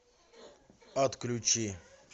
отключи